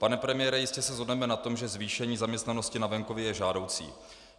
Pane premiére, jistě se shodneme na tom, že zvýšení zaměstnanosti na venkově je žádoucí.